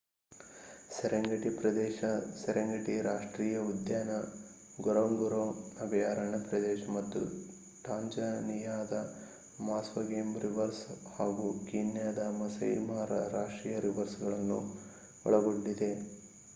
Serengeti ಪ್ರದೇಶ Serengeti ರಾಷ್ಟ್ರೀಯ ಉದ್ಯಾನ ಗೊರೊಂಗೊರೊ ಅಭಯಾರಣ್ಯ ಪ್ರದೇಶ ಮತ್ತು ಟಾಂಜಾನಿಯಾದ ಮಾಸ್ವ ಗೇಮ್ ರಿಸರ್ವ್ ಹಾಗೂ ಕೀನ್ಯಾದ ಮಸೈ ಮಾರ ರಾಷ್ಟ್ರೀಯ ರಿಸರ್ವ್ ಗಳನ್ನು ಒಳಗೊಂಡಿದೆ